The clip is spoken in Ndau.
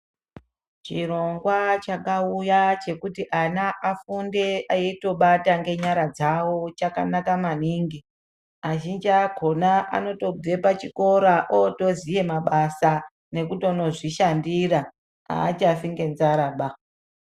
Chirongwa chakauya chekuti ana afunde eitobata ngenyara dzavo chakanaka maningi azhinji akona anotobve pachikora otoziya mabasa nekutondozvishandira achafi ngenzaraba.